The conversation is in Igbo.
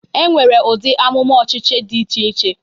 E nwere ụdị amụma ọchịchị dị iche iche.